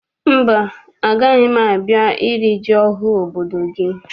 Mba, agaghị m a bịa iri ji ọhụụ obodo gị.